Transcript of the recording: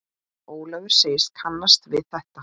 Ólafur segist kannast við þetta.